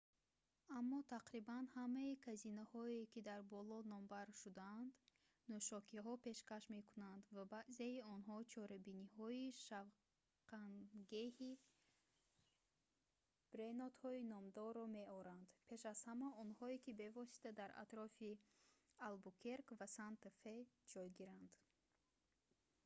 аммо тақрибан ҳамаи казиноҳое ки дар боло номбар шудаанд нӯшокиҳо пешкаш мекунанд ва баъзеи онҳо чорабиниҳои шавқангеҳи бренодҳои номдорро меоранд пеш аз ҳама онҳое ки бевосита дар атрофи албукерк ва санта фе ҷойгиранд